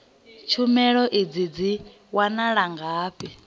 tshumelo idzi dzi wanala ngafhi